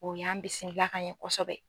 O y'an bisimila ka ɲɛ kosɛbɛ.